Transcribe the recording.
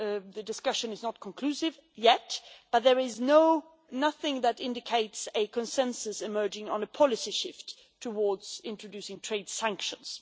The discussion has not been concluded yet, but there is nothing that indicates a consensus emerging on a policy shift towards introducing trade sanctions.